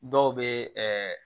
Dɔw bɛ ɛɛ